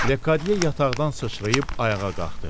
Ledi yataqdan sıçrayıb ayağa qalxdı.